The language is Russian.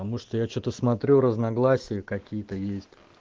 а может я что-то смотрю разногласия какие-то есть